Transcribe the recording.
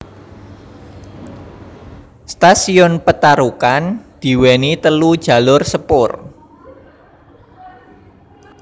Stasiun Petarukan diweni telu jalur sepur